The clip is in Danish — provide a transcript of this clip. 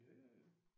Ja ja ja